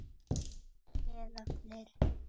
Eða fleiri.